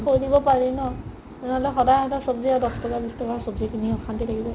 থৈ দিব পাৰি ন নহ'লে সদাই সদাই ছব্জি এটা দছ টকা বিছ টকাৰ ছব্জি কিনি অশান্তি লাগি যায়